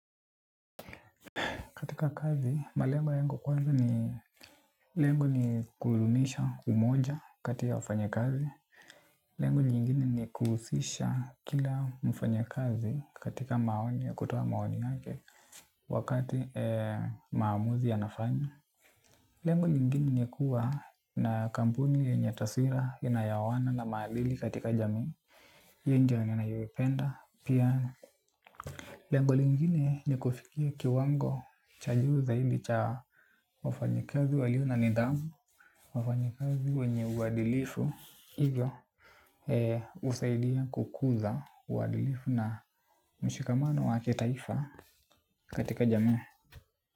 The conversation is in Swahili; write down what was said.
Katika kazi, malengo yangu kwanza ni lengo ni kudumisha umoja kati ya wafanyakazi. Lengo nyingine ni kuhusisha kila mfanyakazi katika maoni ya kutoa maoni yake wakati maamuzi yanafanywa. Lengo nyingine ni kuwa na kampuni yenye taswira inayooana na maadili katika jamii. Hii ndo ninayoipenda pia. Lengo lingine ni kufikia kiwango cha juu zaidi cha wafanyakazi walio na nidhamu. Wafanyakazi wenye uadilifu hivyo husaidia kukuza uadilifu na mshikamano wa kitaifa katika jamii.